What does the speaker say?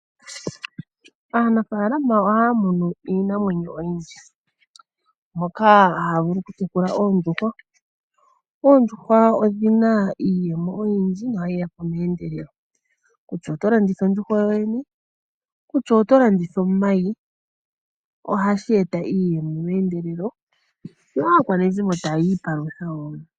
Aanafaalama ohaya munu iinamweno oyindji, moka haya vulu oku tekula oondjuhwa, ondjuhwa odhina iiyemo oyindji yo ohayi yapo meendelelo, kutya otolanditha ondjuhwa yo yene, kutya otolanditha omayi, ohashi eta iiyemo meendelelo yo aakwashigwa taya ipandula woo.